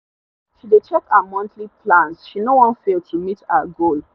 she dey check her monthly plans she no wan fail to meet her goal